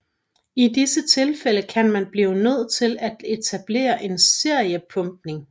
I disse tilfælde kan man blive nødt til at etablere en seriepumpning